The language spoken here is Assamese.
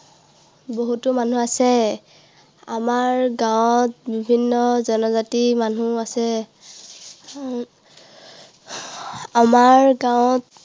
বহুতো মানুহ আছে। আমাৰ গাঁৱত বিভিন্ন জনজাতিৰ মানুহ আছে। উহ আমাৰ গাঁৱত